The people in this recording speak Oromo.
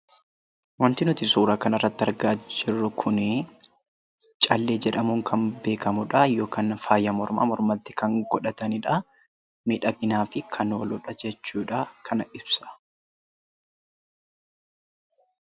Wanti nuti suuraa kanarratti argaa jirru kunii callee jedhamuun kan beekamu dhaa. Yookaan ammoo faaya mormaa mormatti kan godhatani dhaa. Miidhaginaaf kan ooluu dha jechuu dhaa. Kana ibsa.